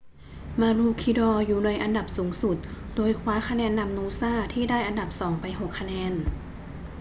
maroochydore อยู่ในอันดับสูงสุด โดยคว้าคะแนนนำ noosa ที่ได้อันดับสองไป 6 คะแนน